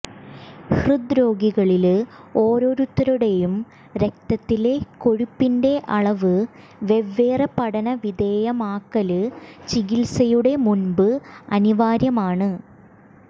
ഹൃദ്രോഗികളില് ഓരോരുത്തരുടെയും രക്തത്തിലെ കൊഴുപ്പിന്റെ അളവ് വെവ്വേറെ പഠന വിധേയമാക്കല് ചികിത്സയുടെ മുമ്പ് അനിവാര്യമാണ്